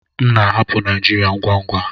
M na-ahapụ Naijiria ngwa ngwa.